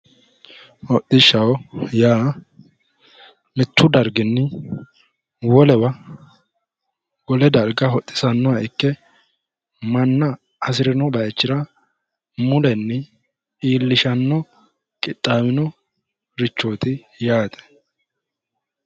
Hodishshaho yaa mitu darginni wolewa wole darga hodhise saysanoha ikke manna hasirino bayichira mulenni iillishano qixxawinorichoti yaate.